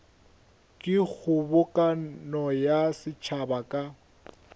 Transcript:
ke kgobokano ya setšhaba ka